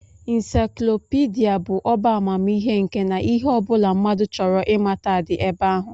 Insaiklopidịa bụ ọbá amamihe nke na ihe ọ bụla mmadụ chọrọ ịmata dị ebe ahụ